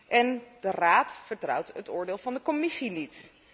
En de Raad vertrouwt het oordeel van de Commissie niet.